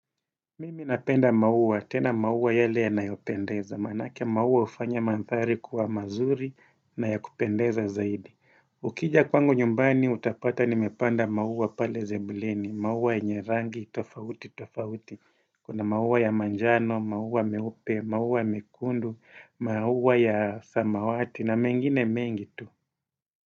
Mimi napenda maua, tena maua yale yanayopendeza, manake maua ufanya manthari kuwa mazuri na ya kupendeza zaidi. Ukija kwangu nyumbani utapata nimepanda maua pale sebuleni, maua yenye rangi, tofauti, tofauti. Kuna maua ya manjano, maua meupe, maua mekundu, maua ya samawati na mengine mengi tu.